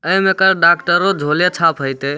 ए में एकर डाक्टरों झोले झाप हेएते।